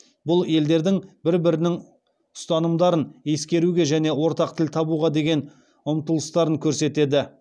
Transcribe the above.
бұл елдердің бір бірінің ұстанымдарын ескеруге және ортақ тіл табуға деген ұмтылыстарын көрсетеді